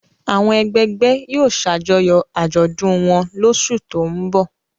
Àwọn ẹgbẹgbẹ́ yóò ṣàjọyọ̀ àjọ̀dún wọn lóṣù tó ń bọ̀.